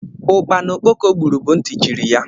Ukpana okpoko gbúrù bú ntị chiri ya